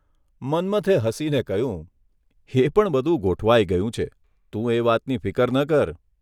મન્મથે હસીને કહ્યુંઃ એ પણ બધું ગોઠવાઇ ગયું છે તું એ વાતની ફિકર ન કર.